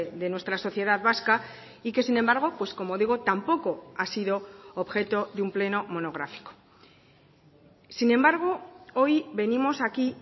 de nuestra sociedad vasca y que sin embargo pues como digo tampoco ha sido objeto de un pleno monográfico sin embargo hoy venimos aquí